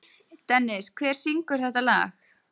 Dennis, hver syngur þetta lag?